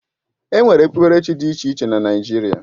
Enwere ekpukpere chi dị iche iche na Naijiria